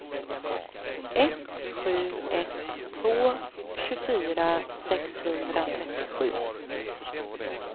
ett sju ett två tjugofyra sexhundratrettiosju